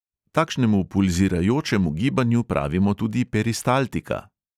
Takšnemu pulzirajočemu gibanju pravimo tudi peristaltika.